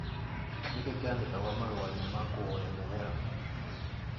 Nikĩ kĩandĩkagwo marũainĩ ma kũhoya mũhera